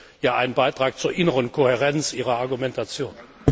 Das wäre ja ein Beitrag zur inneren Kohärenz Ihrer Argumentation.